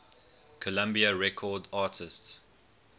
columbia records artists